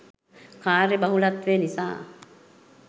කාර්යබහුලත්වය නිසා